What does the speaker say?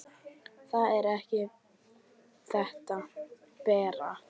Það er ekki þetta, Bera!